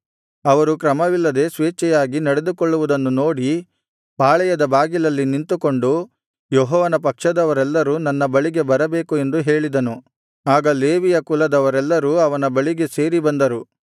ಅವರು ಕ್ರಮವಿಲ್ಲದೆ ಸ್ವೇಚ್ಛೆಯಾಗಿ ನಡೆದುಕೊಳ್ಳುವುದನ್ನು ನೋಡಿ ಪಾಳೆಯದ ಬಾಗಿಲಲ್ಲಿ ನಿಂತುಕೊಂಡು ಯೆಹೋವನ ಪಕ್ಷದವರೆಲ್ಲರೂ ನನ್ನ ಬಳಿಗೆ ಬರಬೇಕು ಎಂದು ಹೇಳಿದನು ಆಗ ಲೇವಿಯ ಕುಲದವರೆಲ್ಲರೂ ಅವನ ಬಳಿಗೆ ಸೇರಿ ಬಂದರು